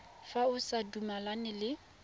fa o sa dumalane le